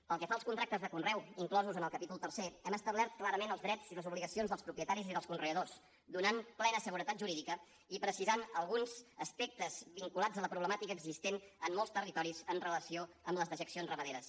pel que fa als contractes de conreu inclosos en el capítol tercer hem establert clarament els drets i les obligacions dels propietaris i dels conreadors donant plena seguretat jurídica i precisant alguns aspectes vinculats a la problemàtica existent en molts territoris amb relació a les dejeccions ramaderes